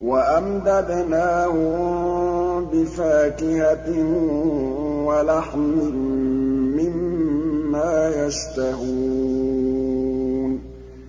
وَأَمْدَدْنَاهُم بِفَاكِهَةٍ وَلَحْمٍ مِّمَّا يَشْتَهُونَ